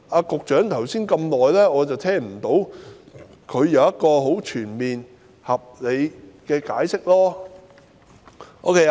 局長剛才發言那麼久，我並未聽到他對此作出全面合理的解釋。